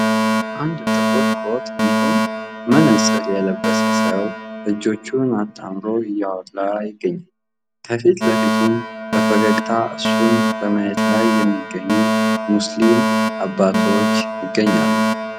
አንድ ጥቁር ኮት እንዲሁም መነጽር የለበሰ ሰው እጆቹን አታምሩ እያወራ ይገኛል ።ከፊት ለፊቱም በፈገግታ እሱን በማየት ላይ የሚገኙ ሙስሊም አባቶች ይገኛሉ ።